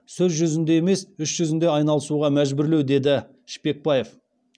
сөз жүзінде емес іс жүзінде айналысуға мәжбүрлеу деді шпекбаев